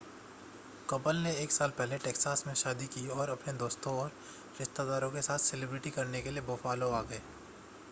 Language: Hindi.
कपल ने एक साल पहले टैक्सास में शादी की और अपने दोस्तों और रिश्तेदारों के साथ सेलिब्रेट करने के लिए बुफ़ालो आ गए